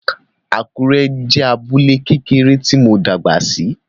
Àkúrẹ́ jẹ́ abúlé kékeré tí mo dàgbà sí